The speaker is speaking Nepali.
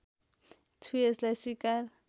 छु यसलाई स्वीकार